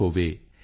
ਹੋਵੇ ਆਈ